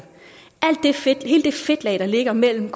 hele det fedtlag der ligger mellem